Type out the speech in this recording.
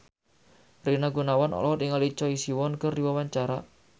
Rina Gunawan olohok ningali Choi Siwon keur diwawancara